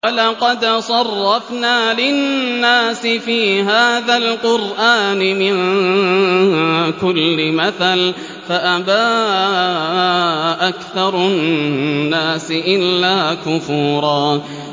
وَلَقَدْ صَرَّفْنَا لِلنَّاسِ فِي هَٰذَا الْقُرْآنِ مِن كُلِّ مَثَلٍ فَأَبَىٰ أَكْثَرُ النَّاسِ إِلَّا كُفُورًا